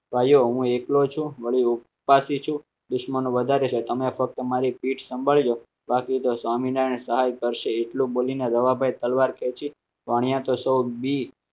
ભાઈઓ હું એકલો છું દુશ્મનો વધારે છે. તમે ફક્ત મારી પીઠ સાંભળજો બાકી તો સ્વામિનારાયણ કરશે એટલું બોલીને જવાબ પણ તલવાર કહે છે